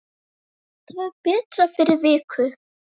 Verður það betra fyrir vikið?